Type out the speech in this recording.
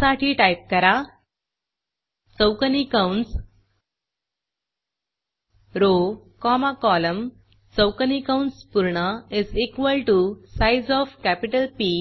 त्यासाठी टाईप करा चौकोनी कंस रो कॉमा कॉलम चौकोनी कंस पूर्ण is equal to size of capital P